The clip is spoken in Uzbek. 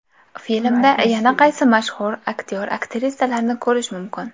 Filmda yana qaysi mashhur aktyor-aktrisalarni ko‘rish mumkin?